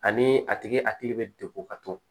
Ani a tigi hakili bɛ degun ka to